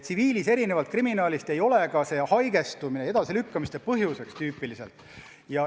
Tsiviilis, erinevalt kriminaalist, ei ole enamasti ka haigestumine edasilükkamiste põhjuseks.